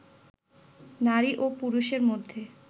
নারী ও পুরুষের মধ্যে